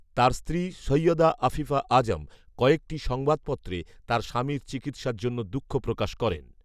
তার স্ত্রী সয়ৈদা আফিফা আযম কয়েকটি সংবাদপত্রে তার স্বামীর চিকিৎসার জন্য দুঃখ প্রকাশ করেন